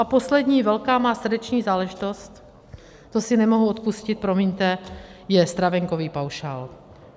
A poslední velká má srdeční záležitost, to si nemohu odpustit, promiňte, je stravenkový paušál.